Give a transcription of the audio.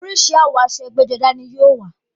Oríṣi àwọ̀ aṣọ ẹgbẹ́-jọdá ní yóò wà.